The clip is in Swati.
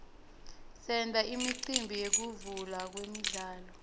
senta imicimbi yekuvulwa kwemidlalo